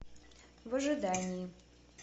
в ожидании